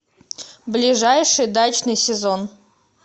ближайший дачный сезон